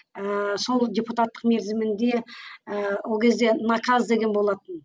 ыыы сол депутатық мерзімінде ыыы ол кезде наказ деген болатын